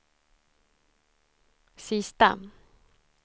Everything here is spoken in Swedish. sista